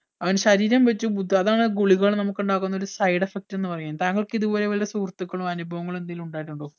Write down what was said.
അവൻ ശരീരം വച്ചു ബുട് അതാണ് ഗുളികകൾ നമുക്ക് ഇണ്ടാക്കുന്ന ഒരു side effect എന്ന് പറയുന്നത് താങ്കൾക്ക് ഇതുപോലെ വല്ല സുഹൃത്തിക്കളോ അനുഭവങ്ങളോ എന്തേലും ഇണ്ടായിട്ടുണ്ടോ